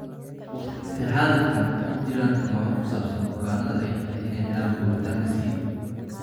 Waqtigan xaadirka ah, ma jiraan tilmaamo ku saabsan bukaannada ay tahay inay helaan borotiinka C.